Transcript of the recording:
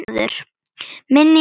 Minning um góða kona lifir.